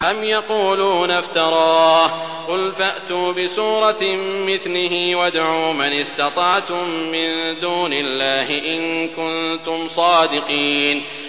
أَمْ يَقُولُونَ افْتَرَاهُ ۖ قُلْ فَأْتُوا بِسُورَةٍ مِّثْلِهِ وَادْعُوا مَنِ اسْتَطَعْتُم مِّن دُونِ اللَّهِ إِن كُنتُمْ صَادِقِينَ